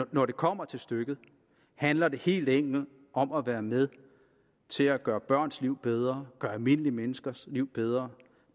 når det kommer til stykket handler det helt enkelt om at være med til at gøre børns liv bedre gøre almindelige menneskers liv bedre